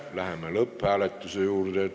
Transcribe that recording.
Läheme lõpphääletuse juurde.